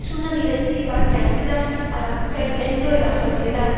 Es una directiva que ayuda a la mujer dentro de la sociedad.